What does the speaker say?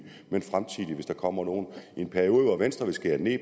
men fremtidige hvis der kommer nogen i en periode hvor venstre vil skære ned